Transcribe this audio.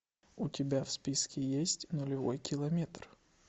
у тебя в списке есть нулевой километр